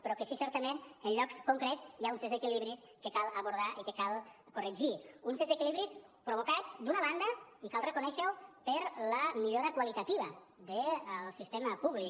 però sí que certament en llocs concrets hi ha uns desequilibris que cal abordar i que cal corregir uns desequilibris provocats d’una banda i cal reconèixer ho per la millora qualitativa del sistema públic